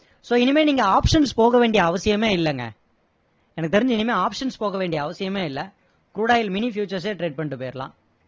so இனிமே நீங்க options போக வேண்டிய அவசியமே இல்லைங்க எனக்கு தெரிஞ்சு இனிமே options போக வேண்டிய அவசியமே இல்லை crude oil mini futures சே trade பண்ணிட்டு போயிடலாம்